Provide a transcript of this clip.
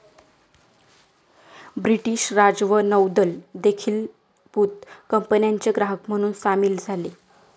British राज व नौदल देखीलबुत कंपन्याचे ग्राहक म्हणून सामील झाले